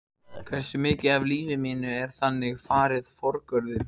Hversu mikið af lífi mínu er þannig farið forgörðum?